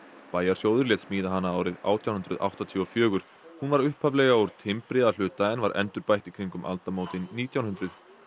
bæjarsjóður lét smíða hana árið átján hundruð áttatíu og fjögur hún var upphaflega úr timbri að hluta en var endurbætt í kringum aldamótin nítján hundruð